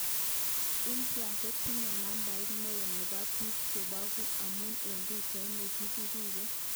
India kotinye nambait neo nebo bik chebeku amun eng pichait nekibirege.